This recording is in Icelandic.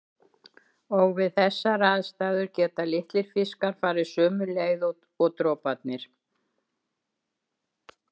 Og við þessar aðstæður geta litlir fiskar farið sömu leið og droparnir.